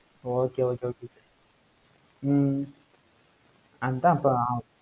okay okay okay okay hmm அதான் இப்ப